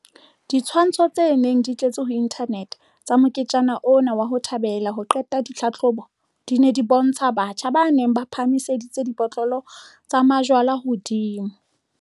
Ditshwantsho tse neng di tletse ho inthanete tsa moketjana ona wa 'ho thabela ho qeta ho ngola ditlhahlobo', di ne di bontsha batjha ba neng ba phahamiseditse dibotlolo tsa jwala hodimo.